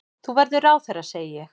Þú verður ráðherra, segi ég.